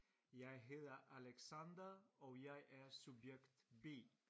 Jeg hedder Alexander og jeg er subjekt B